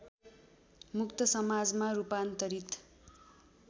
मुक्त समाजमा रूपान्तरित